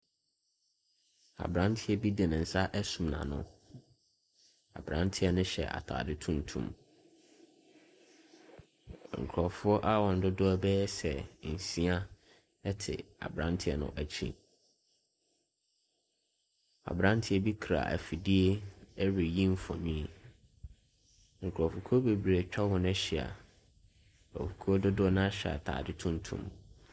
Aberanteɛ bi de ne nsa asum n'ano. Aberanteɛ no hyɛ atade tuntum. Nkurɔfoɔ a wɔn dodoɔ bɛyɛ sɛ nsia te aberanteɛ no akyi. Aberanteɛ bi kura afidie reyi mfonin. Nkurɔfokuo bebree atwa hɔ no ahyia. Ekuo dodoɔ no ara hyɛ atade tuntum.